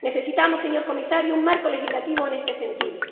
Necesitamos, señor comisario, un marco legislativo en este sentido